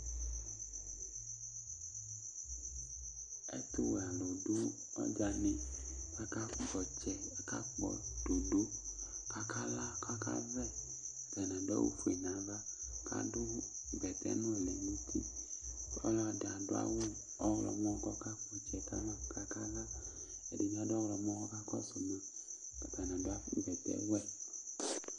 Ɛtʋwɛalu du ɔdzanɩ Akakpɔ ɔtsɛ Akakpɔ dodo kʋ akala, kʋ akavɛ Ɛdɩ adʋ awʋfue nʋ ava, kʋ adʋ bɛtɛnʋlɩ nʋ uti Ɔlɔdɩ adʋ awʋ ɔɣlɔmɔ, kʋ ɔkakpɔtsɛ kama kʋ akala Ɛdɩbɩ adʋ ɔɣlɔmɔ kʋ ɔka kɔsʋma Atani bɩ adʋ bɛtɛwɛ